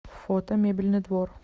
фото мебельный двор